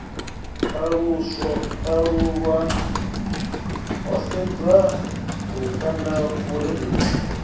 ṱalulwa ho sedzwa lukanda vhurereli